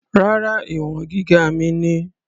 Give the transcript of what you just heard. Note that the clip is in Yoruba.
Rárá, ìwọ̀n gíga mi ni.